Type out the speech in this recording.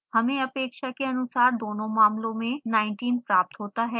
हमें अपेक्षा के अनुसार दोनों मामलों में 19 प्राप्त होता है